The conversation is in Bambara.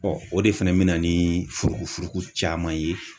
Ɔ o de fɛnɛ bɛna ni furuku furuku caman ye.